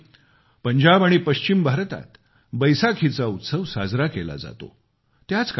एप्रिलमध्ये पंजाब आणि पश्चिम भारतात बैसाखीचा उत्सव साजरा केला जातो